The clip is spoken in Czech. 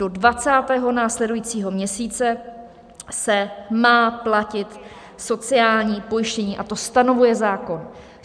Do 20. následujícího měsíce se má platit sociální pojištění, a to stanovuje zákon.